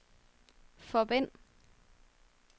forbind